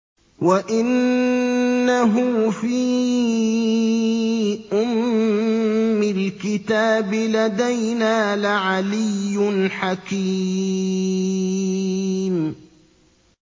وَإِنَّهُ فِي أُمِّ الْكِتَابِ لَدَيْنَا لَعَلِيٌّ حَكِيمٌ